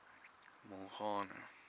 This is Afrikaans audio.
mongane